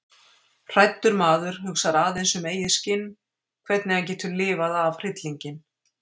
Hræddur maður hugsar aðeins um eigið skinn, hvernig hann getur lifað af hryllinginn.